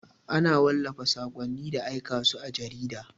Ana wallafa saƙonni da aika su a jarida.